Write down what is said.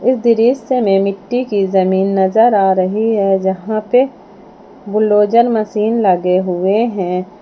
इस दृश्य में मिट्टी की जमीन नजर आ रही है जहां पे बुलडोजर मशीन लगे हुए हैं।